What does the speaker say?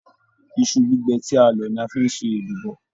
Iṣu gbígbẹ́ ti a lọ ní a fí n ṣe èlùbọ́.